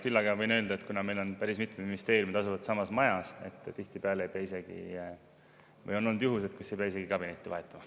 Küll aga võin öelda, et kuna meil päris mitmed ministeeriumid asuvad samas majas, siis on olnud juhuseid, et ei pea isegi kabinetti vahetama.